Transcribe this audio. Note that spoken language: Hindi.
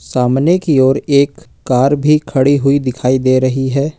सामने की ओर एक कार भी खड़ी हुई दिखाई दे रही है।